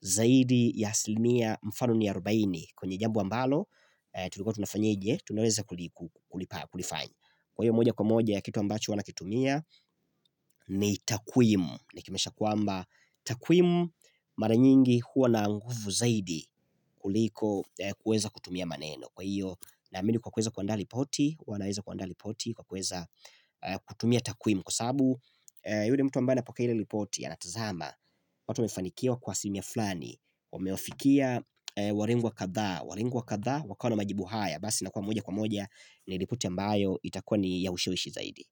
zaidi ya asilimia mfano ni arobaini. Kwenye jambo ambalo tulikua tunafanya aje, tunaweza kulifanya. Kwa hiyo moja kwa moja kitu ambacho nina kitumia ni takwimu Niki maanisha kwamba takwimu mara nyingi huwa na nguvu zaidi kuliko kuweza kutumia maneno kwa hiyo naamini kwa kuweza kuandaa ripoti, hua naweza kuandaa ripoti kwa kuweza kutumia takwimu Kwa sababu yule mtu ambaye anapokea ile ripoti anatazama watu wamefanikiwa kwa asilimia fulani, wamewafikia warengo kadhaa, wakawa na majibu haya basi inakua moja kwa moja ni ripoti ambayo itakua ni ya ushiwishi zaidi.